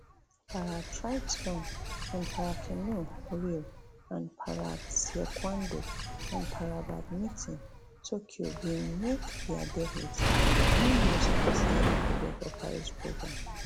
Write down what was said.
paratriathlon and paracanoe rio and parataekwondo and parabadminton tokyo bin make dia debuts no new sports dey included for paris programme